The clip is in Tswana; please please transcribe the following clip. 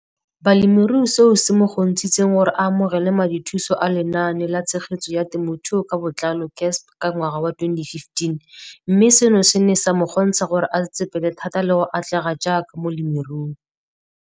Balemirui e leng seo se mo kgontshitseng gore a amogele madithuso a Lenaane la Tshegetso ya Te mothuo ka Botlalo, CASP] ka ngwaga wa 2015, mme seno se ne sa mo kgontsha gore a tsetsepele thata le go atlega jaaka molemirui.